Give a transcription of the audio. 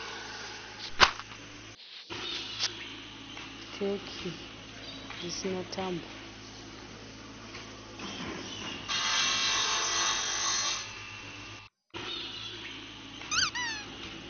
Teki risina tambo.